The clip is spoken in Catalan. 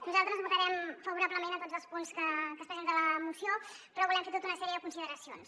nosaltres votarem favorablement a tots els punts que es presenten a la moció però volem fer tota una sèrie de consideracions